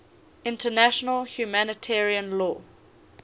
international humanitarian law